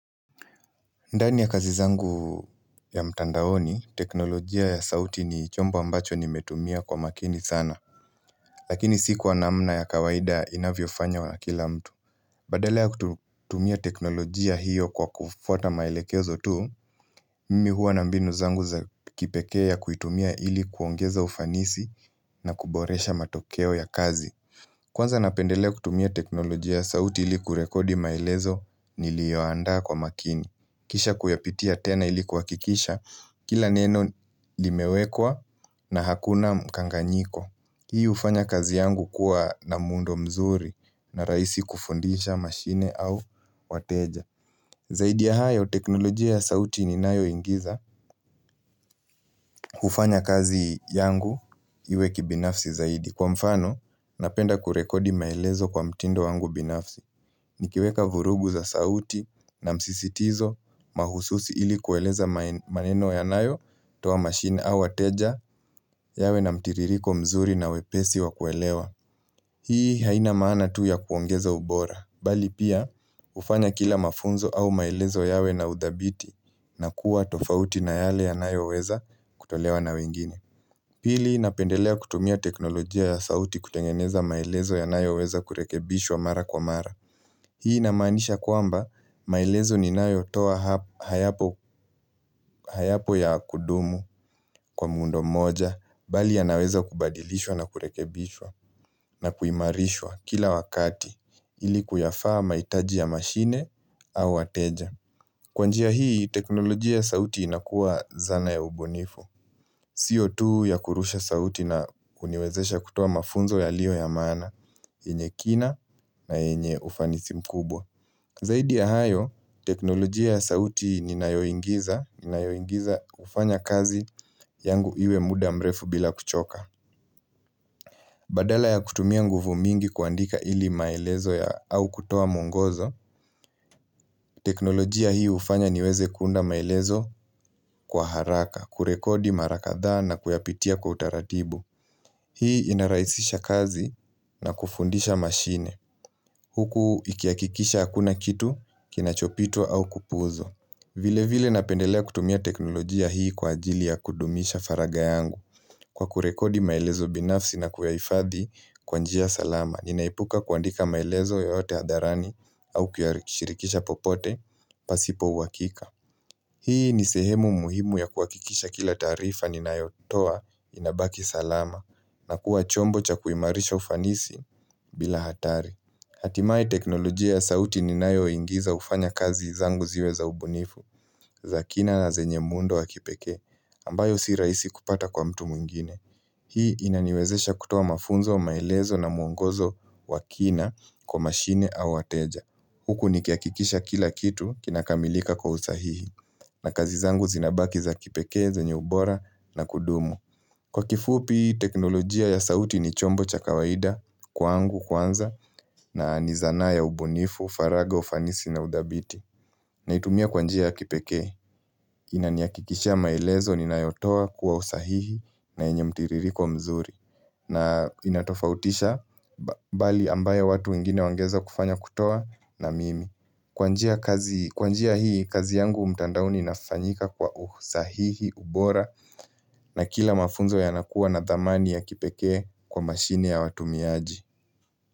Ndani ya kazi zangu ya mtandaoni, teknolojia ya sauti ni chombo ambacho nimetumia kwa makini sana Lakini si kwa namna ya kawaida inavyofanywa na kila mtu Badala kutumia teknolojia hiyo kwa kufwata maelekezo tu Mimi huwa na mbinu zangu za kipekee ya kuitumia ili kuongeza ufanisi na kuboresha matokeo ya kazi Kwanza napendelea kutumia teknolojia ya sauti, ili kurekodi maelezo nilioandaa kwa makini, kisha kuyapitia tena ili kuhakikisha, kila neno limewekwa na hakuna mkanganyiko. Hii hufanya kazi yangu kuwa na muundo mzuri na rahisi kufundisha mashine au wateja. Zaidi ya hayo, teknolojia ya sauti ninayo ingiza, hufanya kazi yangu iwe kibinafsi zaidi. Kwa mfano, napenda kurekodi maelezo kwa mtindo wangu binafsi. Nikiweka vurugu za sauti na msisitizo mahususi ili kueleza maneno yanayo toa machine au wateja yawe na mtiririko mzuri na wepesi wa kuelewa. Hii haina maana tu ya kuongeza ubora, bali pia hufanya kila mafunzo au maelezo yawe na udhabiti na kuwa tofauti na yale yanayoweza kutolewa na wengini. Pili napendelea kutumia teknolojia ya sauti kutengeneza maelezo yanayoweza kurekebishwa mara kwa mara. Hii inamaanisha kwamba, maelezo ninayo toa hayapo ya kudumu kwa muundo moja, bali yanaweza kubadilishwa na kurekebishwa na kuimarishwa kila wakati ili kuyafaa mahitaji ya mashine au wateja. Kwa njia hii teknolojia ya sauti inakuwa zana ya ubunifu. Sio tu ya kurusha sauti na kuniwezesha kutoa mafunzo yalio ya maana, yenye kina na yenye ufanisi mkubwa. Zaidi ya hayo, teknolojia ya sauti ninayoingiza, hufanya kazi yangu iwe muda mrefu bila kuchoka. Badala ya kutumia nguvu mingi kuandika ili maelezo ya au kutoa muongozo, teknolojia hii hufanya niweze kuunda maelezo kwa haraka, kurekodi mara kadhaa na kuyapitia kwa utaratibu. Hii inarahisisha kazi na kufundisha mashine. Huku ikihakikisha hakuna kitu kinachopitwa au kupuuzwa. Vile vile napendelea kutumia teknolojia hii kwa ajili ya kudumisha faragha yangu, kwa kurekodi maelezo binafsi na kuyahifadhi kwa njia salama. Ninaepuka kuandika maelezo yote hadharani au kuyashirikisha popote pasipo uhakika. Hii ni sehemu muhimu ya kuhakikisha kila taarifa ninayotoa inabaki salama na kuwa chombo cha kuimarisha ufanisi bila hatari. Hatimae teknolojia ya sauti ninayo ingiza hufanya kazi zangu ziwe za ubunifu, za kina na zenye muundo wa kipekee, ambayo si rahisi kupata kwa mtu mwingine. Hii inaniwezesha kutoa mafunzo, maelezo na muongozo wa kina kwa mashine au wateja. Huku nikihakikisha kila kitu kinakamilika kwa usahihi, na kazi zangu zinabaki za kipekee, zenye ubora na kudumu. Kwa kifuupi, teknolojia ya sauti ni chombo cha kawaida kwangu kwanza na ni zana ya ubunifu, faragha, ufanisi na udhabiti. Naitumia kwa njia ya kipekee. Inanihakikisha maelezo ninayotoa kuwa sahihi na yenye mtiririko mzuri. Na inatofautisha, bali ambayo watu wengine wangeweza kufanya kutoa na mimi. Kwa njia kazi kwa njia hii kazi yangu mtandaoni inafanyika kwa usahihi, ubora na kila mafunzo yanakuwa na dhamani ya kipekee kwa mashini ya watumiaji.